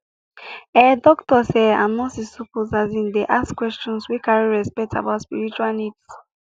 ehh doctors ehh and nurses suppose asin dey ask questions wey carry respect about spiritual needs